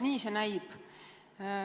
Nii see näib.